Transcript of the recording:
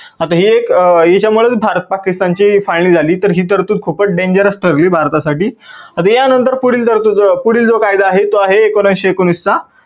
आता हे एक याच्या मधून भारत पाकिस्तान ची final झाली. तर ही तरतूद खूपच dangerous ठरली भारतासाठी. आता या नंतर पुढील जो कायदा आहे, तो आहे एकोणविसशे एकोणवीस चा.